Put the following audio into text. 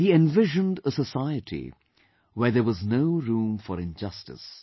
He envisioned a society where there was no room for injustice